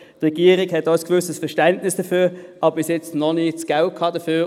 Die Regierung hat auch ein gewisses Verständnis, aber bisher noch nicht das Geld dafür;